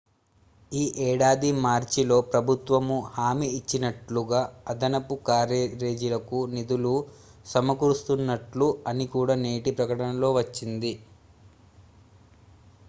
ఈ ఏడాది మార్చిలో ప్రభుత్వము హామీ ఇచ్చినట్లుగా అదనపు క్యారేజీలకు నిధులు సమకూరుస్తున్నట్లు అని కూడా నేటి ప్రకటనలో వచ్చింది